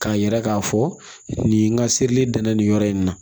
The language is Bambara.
K'a yira k'a fɔ nin ka seli danna nin yɔrɔ in na